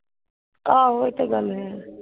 ਏਹੋ ਇਹ ਤੇ ਗੱਲ ਹੈ।